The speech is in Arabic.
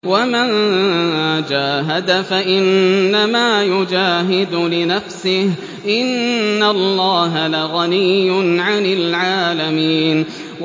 وَمَن جَاهَدَ فَإِنَّمَا يُجَاهِدُ لِنَفْسِهِ ۚ إِنَّ اللَّهَ لَغَنِيٌّ عَنِ الْعَالَمِينَ